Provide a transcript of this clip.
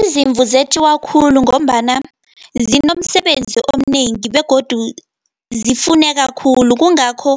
Izimvu zetjiiwa khulu, ngombana zinomsebenzi omnengi, begodu zifuneka khulu. Kungakho